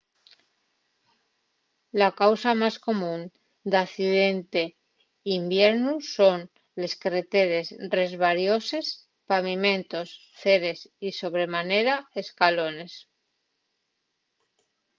la causa más común d’accidente n’hibiernu son les carreteres resbarioses pavimentos ceres y sobre manera escalones